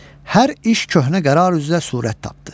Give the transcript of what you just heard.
Hər iş köhnə qərar üzrə surət tapdı.